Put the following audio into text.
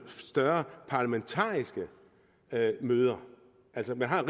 større parlamentariske møder altså man har